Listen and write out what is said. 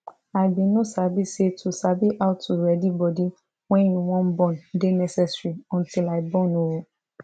i bin no sabi say to sabi how to ready body wen you wan born dey necessary until i born ooo